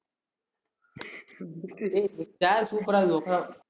tab super ஆ இருக்கு .